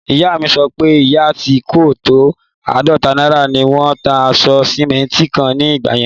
Ìyá mi sọ pé iye tí kò tó áàdọ́ta náírà ni wón ń ta àpò sìmẹ́ntì kan ní ìgbà yẹn